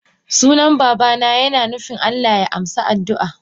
Sunan babana yina nufin Allah ya amsa addua.